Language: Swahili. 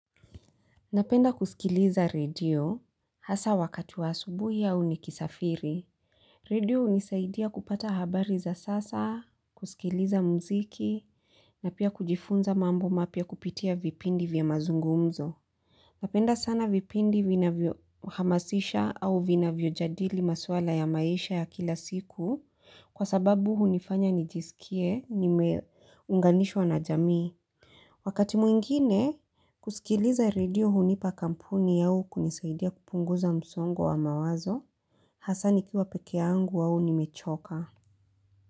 Napenda kusikiliza redio hasa wakati wa asubuhi au nikisafiri. Redio hunisaidia kupata habari za sasa, kusikiliza mziki, na pia kujifunza mambo mapya kupitia vipindi vya mazungumzo. Napenda sana vipindi vinavyo hamasisha au vinavyo jadili maswala ya maisha ya kila siku kwa sababu hunifanya nijisikie nimeunganishwa na jamii. Wakati mwingine, kusikiliza redio hunipa kampuni yao kunisaidia kupunguza msongo wa mawazo, hasa nikiwa pekeyangu au nimechoka.